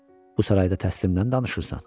Bu sarayda təslimlə danışırsan.